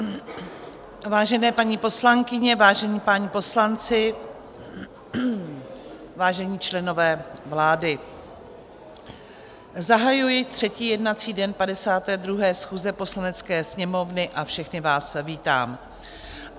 Vážené paní poslankyně, vážení páni poslanci, vážení členové vlády, zahajuji třetí jednací den 52. schůze Poslanecké sněmovny a všechny vás vítám.